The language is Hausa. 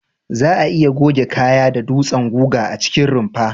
Za'a iya goge kaya da dutsen guga a cikin rumfa.